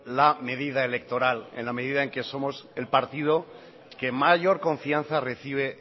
la medida electoral en la medida en que somos el partido que mayor confianza recibe